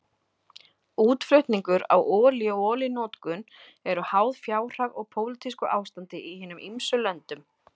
Útflutningur á olíu og olíunotkun eru háð fjárhag og pólitísku ástandi í hinum ýmsu löndum.